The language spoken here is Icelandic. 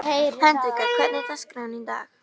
Hendrikka, hvernig er dagskráin í dag?